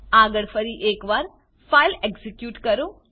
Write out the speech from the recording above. આગળ ફરી એક વાર ફાઈલ એક્ઝીક્યુટ કરો